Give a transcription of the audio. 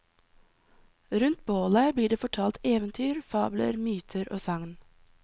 Rundt bålet blir det fortalt eventyr, fabler, myter og sagn.